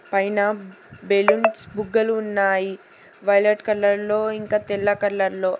పైన బెలూన్స్ బుగ్గలు ఉన్నాయి వైలెట్ కలర్ లో ఇంకా తెల్ల కలర్ లో.